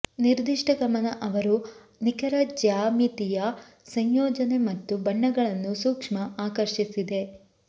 ನಿರ್ದಿಷ್ಟ ಗಮನ ಅವರು ನಿಖರ ಜ್ಯಾಮಿತೀಯ ಸಂಯೋಜನೆ ಮತ್ತು ಬಣ್ಣಗಳನ್ನು ಸೂಕ್ಷ್ಮ ಆಕರ್ಷಿಸಿದೆ